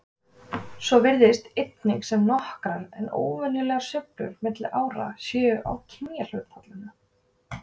Svo virðist einnig sem nokkrar en óverulegar sveiflur milli ára séu á kynjahlutfallinu.